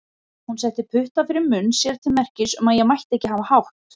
Hún setti putta fyrir munn sér til merkis um að ég mætti ekki hafa hátt.